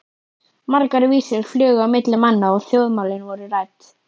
Margar vísur flugu á milli manna og þjóðmálin voru rædd.